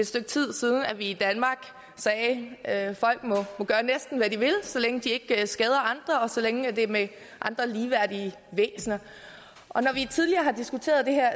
stykke tid siden at vi i danmark sagde at folk må gøre næsten hvad de vil så længe de ikke skader andre og så længe det er med andre ligeværdige væsener når vi tidligere har diskuteret det her